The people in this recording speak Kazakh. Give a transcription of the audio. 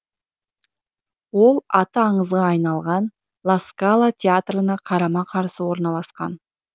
ол аты аңызға айналған ла скала театрына қарама қарсы орналасқан